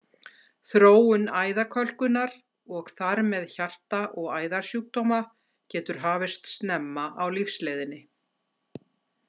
Þróun æðakölkunar, og þar með hjarta- og æðasjúkdóma, getur hafist snemma á lífsleiðinni.